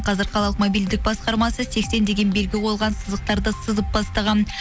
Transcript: қазір қалалық мобильдік басқармасы сексен деген белгі қойылған сызықтарды сызып бастаған